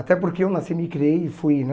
Até porque eu nasci, me criei e fui, né?